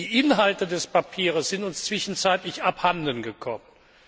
Die Inhalte des Papiers sind uns zwischenzeitlich abhanden gekommen.